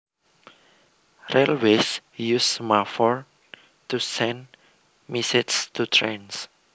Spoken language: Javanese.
Railways use semaphore to send messages to trains